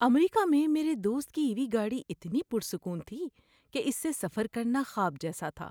امریکہ میں میرے دوست کی ای وی گاڑی اتنی پرسکون تھی کہ اس سے سفر کرنا خواب جیسا تھا۔